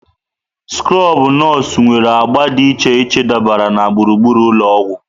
Skrobụ nọọsụ nwere agba dị iche iche dabara na gburugburu ụlọ ọgwụ.